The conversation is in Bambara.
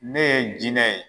Ne ye jinɛ ye